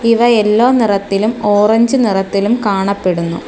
ഇവ എല്ലോ നിറത്തിലും ഓറഞ്ച് നിറത്തിലും കാണപ്പെടുന്നു.